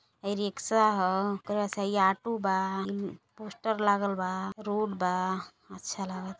हई रिक्शा ह। हई ऑटो बा। ईन् पोस्टर लागल बा रोड बा आच्छा लागत --